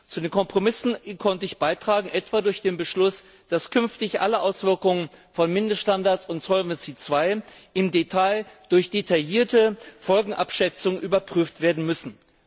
Zu den Kompromissen konnte ich beitragen, etwa durch den Beschluss, dass künftig alle Auswirkungen von Mindeststandards und Solvency II im Detail durch eine eingehende Folgenabschätzung überprüft werden müssen.